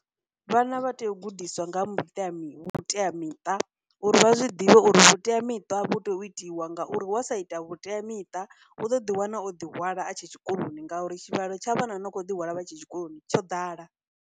Vhana vha tea u gudiswa nga vhuteamiṱa, uri vha zwi ḓivhe uri vhuteamiṱa vhu tea u itiwa ngauri wa sa ita vhuteamiṱa u ḓo ḓi wana o ḓi hwala a tshe tshikoloni ngauri tshivhalo tsha vhana no kho ḓi hwala vha tshe tshikoloni tsho ḓala.